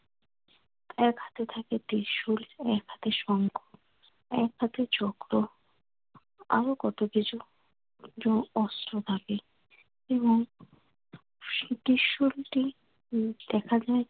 এক হাতে থাকে ত্রিশূল। এক হাতে শঙ্খ এক হাতে চক্র আরো কত কিছু অস্ত্র থাকে এবং সে ত্রিশূলটি দেখা যায়